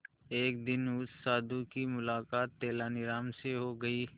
एक दिन उस साधु की मुलाकात तेनालीराम से हो गई